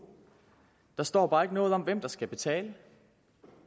der står bare ikke noget om hvem der skal betale